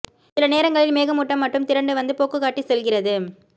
சில நேரங்களில் மேகமூட்டம் மட்டும் திரண்டு வந்து போக்குகாட்டி செல்கிறது